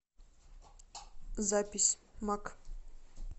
запись мак